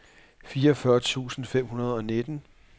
fireogfyrre tusind fem hundrede og nitten